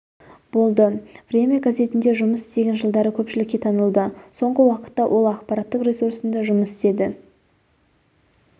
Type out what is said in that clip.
болды время газетінде жұмыс істеген жылдары көпшілікке танылды соңғы уақытта ол ақпараттық ресурсында жұмыс істеді